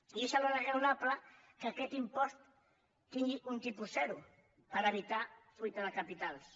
i és alhora raonable que aquest impost tingui un tipus zero per evitar fuita de capitals